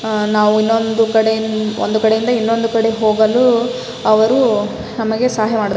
ಅಹ್ ನಾವು ಇನ್ನೊಂದು ಕಡೆ ಒಂದ್ ಕಡೆ ಇಂದ ಇನ್ನೊಂದು ಕಡೆ ಹೋಗಲು ಅವರು ನಮಗೆ ಸಹಾಯ ಮಾಡುತ್ತಾರೆ--